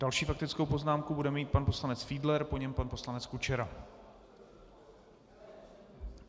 Další faktickou poznámku bude mít pan poslanec Fiedler, po něm pan poslanec Kučera.